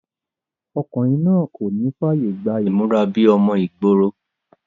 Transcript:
ọkùnrin náà kò ní fàyè gba ìmúra bíi ọmọ ìgboro